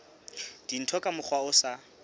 dintho ka mokgwa o sa